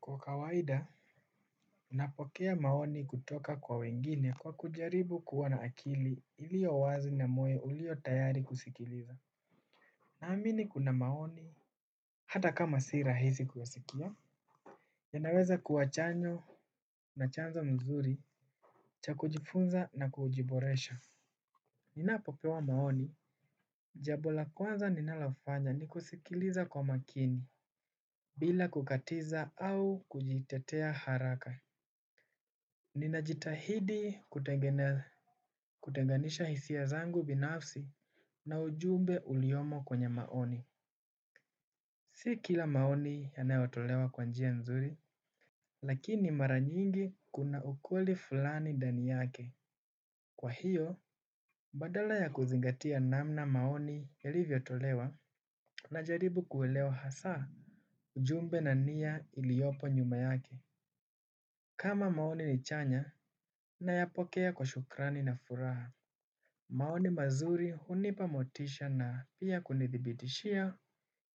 Kwa kawaida, napokea maoni kutoka kwa wengine. Kwa kujaribu kuwa na akili iliyo wazi na moyo ulio tayari kusikiliza naamini kuna maoni hata kama si rahisi kuyasikia. Yanaweza kuwa chanyo na chanza mzuri cha kujifunza na kujiboresha. Ninapopewa maoni jambo la kwanza ninalofanya ni kusikiliza kwa makini bila kukatiza au kujitetea haraka. Ninajitahidi kutenganisha hisia zangu binafsi na ujumbe uliomo kwenye maoni. Si kila maoni yanayotolewa kwa njia nzuri, lakini mara nyingi kuna ukweli fulani ndani yake. Kwa hiyo, badala ya kuzingatia namna maoni yalivyotolewa najaribu kuelewa hasa ujumbe na nia iliyopo nyuma yake. Kama maoni ni chanya nayapokea kwa shukrani na furaha. Maoni mazuri hunipa motisha na pia kunithibitishia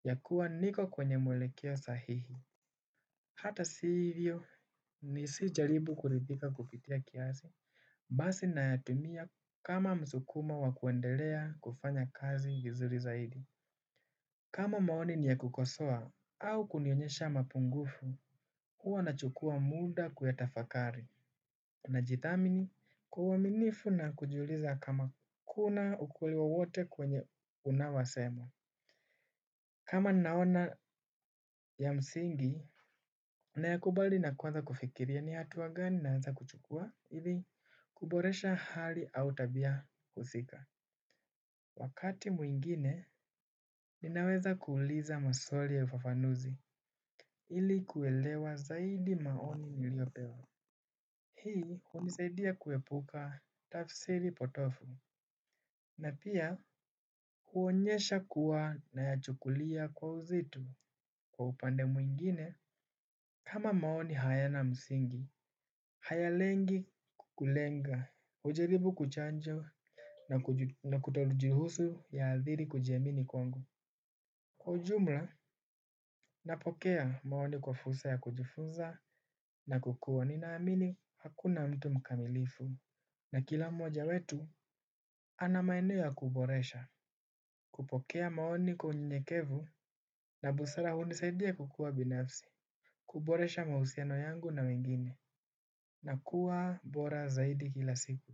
ya kuwa niko kwenye mwelekeo sahihi. Hata si hivyo ni sijaribu kuridhika kupitia kiasi, basi nayatumia kama msukumo wa kuendelea kufanya kazi vizuri zaidi. Kama maoni ni ya kukosoa au kunionyesha mapungufu, huwa na chukua muda kuyatafakari. Najithamini kwa uaminifu na kujiuliza kama kuna ukweli wowote kwenye unaowasema. Kama naona ya msingi nayakubali na kuanza kufikiria ni hatua gani naweza kuchukua ili kuboresha hali au tabia husika. Wakati mwingine ninaweza kuuliza maswali ya ufafanuzi ili kuelewa zaidi maoni niliyopewa. Hii hunisaidia kuepuka tafsiri potovu. Na pia huonyesha kuwa nayachukulia kwa uzito kwa upande mwingine. Kama maoni hayana msingi haya lengi kukulenga kuchanjo na kuchanja na kutojihusu ya hadhiri kujiamini kwangu. Kwa ujumla napokea maoni kwa fursa ya kujufunza na kukuwa ninaamini hakuna mtu mkamilifu. Na kila mmoja wetu ana maeneo ya kuboresha. Kupokea maoni kwa unyenyekevu na busara hunisaidia kukua binafsi, kuboresha mahusiano yangu na mengine, na kuwa bora zaidi kila siku.